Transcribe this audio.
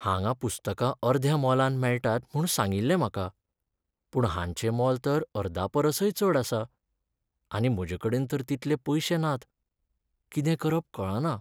हांगां पुस्तकां अर्द्या मोलान मेळटात म्हूण सांगिल्लें म्हाका. पूण हांचें मोल तर अर्दापरसय चड आसा. आनी म्हजेकडेन तर तितले पयशे नात. कितें करप कळना.